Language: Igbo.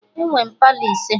Enwe m Palọ ise